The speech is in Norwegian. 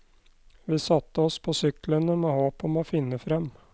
Vi satte oss på syklene med håp om å finne frem.